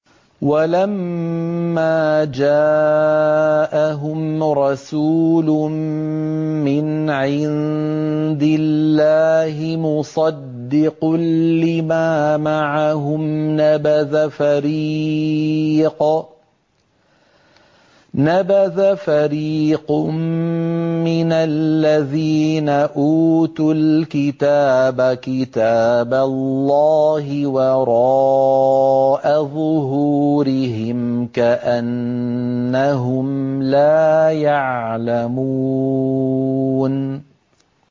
وَلَمَّا جَاءَهُمْ رَسُولٌ مِّنْ عِندِ اللَّهِ مُصَدِّقٌ لِّمَا مَعَهُمْ نَبَذَ فَرِيقٌ مِّنَ الَّذِينَ أُوتُوا الْكِتَابَ كِتَابَ اللَّهِ وَرَاءَ ظُهُورِهِمْ كَأَنَّهُمْ لَا يَعْلَمُونَ